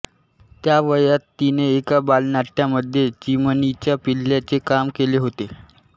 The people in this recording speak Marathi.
त्या वयात तिने एका बालनाट्यामध्ये चिमणीच्या पिल्लाचे काम केले होते